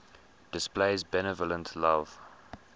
displays benevolent love